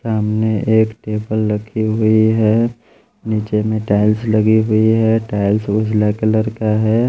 सामने एक टेबल रखी हुई है नीचे में टाइल्स लगी हुई है टाइल्स उजला कलर का है।